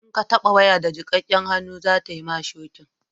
in ka taba waya da jikakken hannu za ta mi ki shoki